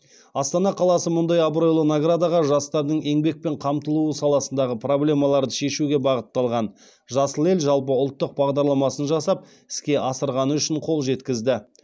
астана қаласы мұндай абыройлы наградаға жастардың еңбекпен қамтылуы саласындағы проблемаларды шешуге бағытталған жасыл ел жалпыұлттық бағдарламасын жасап іске асырғаны үшін қол жеткізді